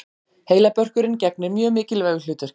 Heilabörkurinn gegnir mjög mikilvægu hlutverki.